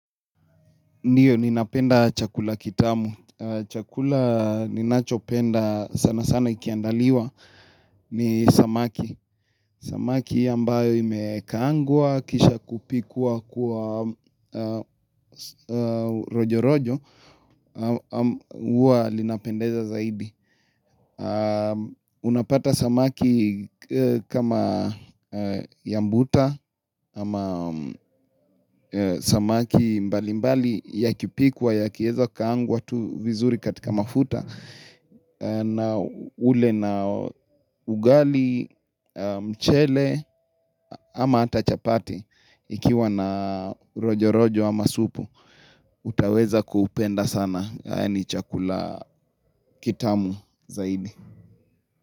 Ndiyo, ninapenda chakula kitamu. Chakula ninachopenda sana sana ikiandaliwa ni samaki. Samaki ambayo imekaangwa, kisha kupikwa kwa rojo rojo, huwa linapendeza zaidi. Unapata samaki kama ya mbuta Ama samaki mbali mbali ya kipikwa yakieza kukaangwa tu vizuri katika mafuta na ule na ugali, mchele ama ata chapati Ikiwa na rojo rojo ama supu utaweza kuhupenda sana ni chakula kitamu zaidi.